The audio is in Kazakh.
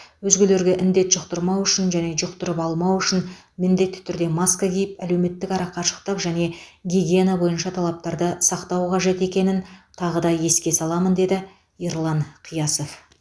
өзгелерге індет жұқтырмау үшін және жұқтырып алмау үшін міндетті түрде маска киіп әлеуметтік арақашықтық және гигиена бойынша талаптарды сақтау қажет екенін тағы да еске саламын деді ерлан қиясов